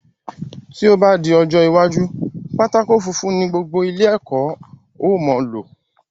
Tí o ba di ọjọ́ iwájú, pátákó funfun ni gbogbo ilé ẹ̀kọ́ o mo lò